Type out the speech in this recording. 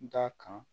N t'a kan